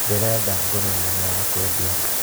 Ndĩrenda ngũrwe nene ya kwendia.